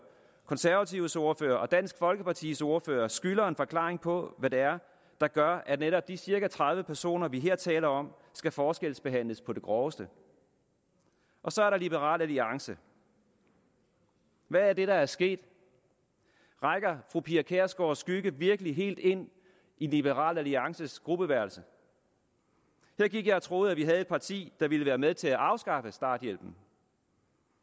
konservatives ordfører og dansk folkepartis ordfører skylder en forklaring på hvad det er der gør at netop de cirka tredive personer vi her taler om skal forskelsbehandles på det groveste og så er der liberal alliance hvad er det der er sket rækker fru pia kjærsgaards skygge virkelig helt ind i liberal alliances gruppeværelse her gik jeg og troede at vi her har et parti der vil være med til at afskaffe starthjælpen